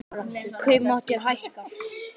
Kaupmáttur hækkar